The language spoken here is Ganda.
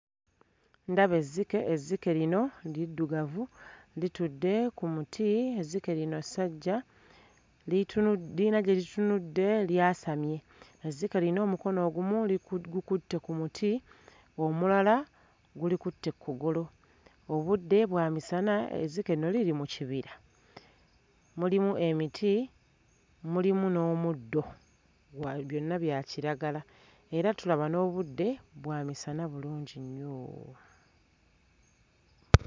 Ndaba ezzike, ezzike lino liddugavu litudde ku muti. Ezzike lino ssajja litunu... lirina gye litunudde lyasamye. Ezzike lino omukono ogumu gukutte ku muti, omulala gulikutte ku kugulu. Obudde bwa misana, ezzike lino liri mu kibira. Mulimu emiti, mulimu n'omuddo gwa byonna bya kiragala era tulaba n'obudde bwa misana bulungi nnyo.